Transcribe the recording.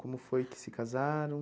Como foi que se casaram?